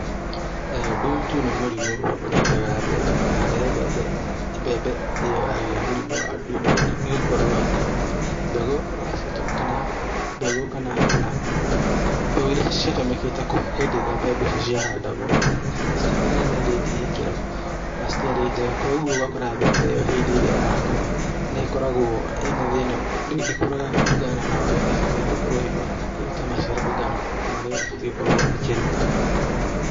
Ndutu nĩ mũrimũ ũnyitaga mbembe na rĩrĩa mbembe ĩyo yagĩa mũrimũ wa ndutu nĩ gũkorwo atĩ mbegũ ĩrĩa ciatũmĩra kana mbegũ kana mbegũ iria ciatũmĩkĩte hĩndĩ ĩrĩa mbegũ icio ciahandagwo citiakĩnyanĩitie ikĩro na citiarĩ njega, koguo ũgakora mbembe ĩyo hĩndĩ ĩrĩa yakũra, nĩ ĩkoragwo ĩna thĩna, ndĩkũraga kũringana na ũrĩa ĩbataire gũkorwo ĩgĩkũra kana ĩrute maciaro kũringana na marĩa ibatiĩ gũkorwo ĩkĩruta